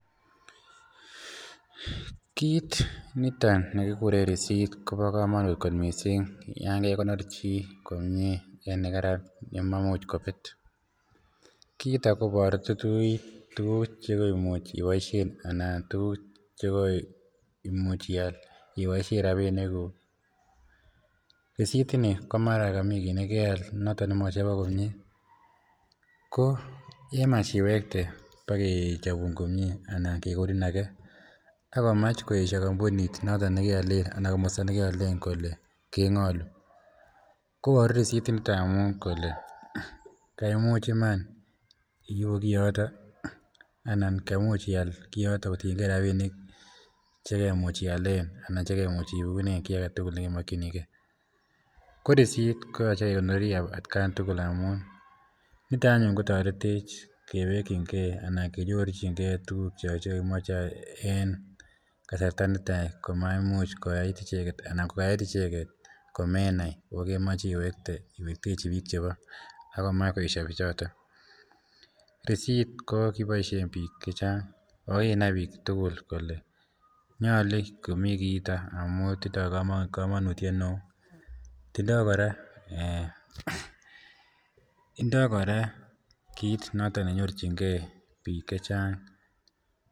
kiit niton nekigureen receipt kobo komonuut kot miising yan kegonoor chii komyee en oret nemaimuch kobeet, kiiton koboru tuguk tuguk chegoimuch iboishen anan tuguk chegoimuuch iyaal iboishen rabinik guuk, receipt ini komara komii kiiit negayaal nemara mochobok komyee koyemach iwekte bogechobuun komyee anan kegonin age ak komaach koesho kompuniit noton negeoleen anan komosta negeoleen kole kengolu, koboru receipt initon amuun kole kaimuuch iman ibuu kiyoton anan kaimuuch iyaal kiyoton kotiyengee rabinik chegemuuch iyaleen anan chegemuch iwekuneen kii agetugul chegemokyinigee, ko receipt koyoche kegonorii atkaan tugul amuun niton anyun kotoretech kewekyingee anan kenyorchigee tuguk chegogimoche en kasarta niton komaimuch koyaai icheget komenai ooh komeche iwekte iwektechi biik chebo agomach koesyo bichoton, receipt ko kiboishen biik chechang ooh kinaai biik tugul kole nyolu komii kiiton ooh tindoo komonutyet neoo, indoo koraa kiit noton nenyorchingee biik chechang.